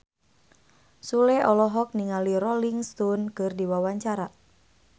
Sule olohok ningali Rolling Stone keur diwawancara